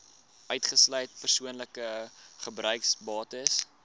uitgesluit persoonlike gebruiksbates